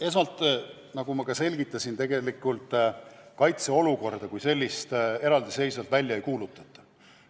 Esmalt, nagu ma juba selgitasin, tegelikult kaitseolukorda kui sellist eraldiseisvalt välja ei kuulutata.